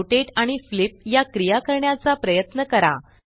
rotate आणि flip या क्रिया करण्याचा प्रयत्न करा